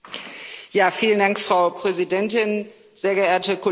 Frau Präsidentin, sehr geehrte Kolleginnen und Kollegen!